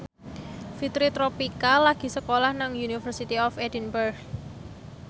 Fitri Tropika lagi sekolah nang University of Edinburgh